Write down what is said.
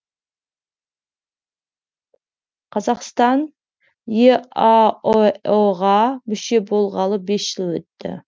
қазақстан еаэо ға мүше болғалы бес жыл өтті